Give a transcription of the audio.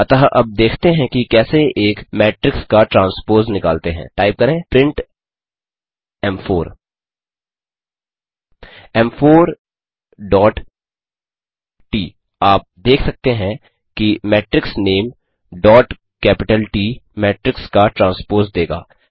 अतः अब देखते हैं कि कैसे एक मेट्रिक्स का ट्रांस्पोज़ निकालते हैं टाइप करें प्रिंट एम4 एम4 डॉट ट आप देख सकते हैं कि मैट्रिक्स नामे डॉट कैपिटल ट मेट्रिक्स का ट्रांस्पोज़ देगा